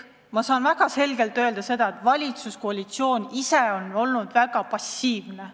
Ma saan väga selgelt öelda ka seda, et kogu valitsuskoalitsioon on olnud väga passiivne.